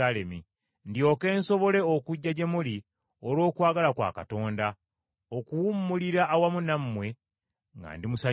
ndyoke nsobole okujja gye muli olw’okwagala kwa Katonda, okuwummulira awamu nammwe, nga ndi musanyufu.